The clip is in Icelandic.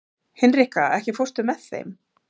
Hinrika, ekki fórstu með þeim?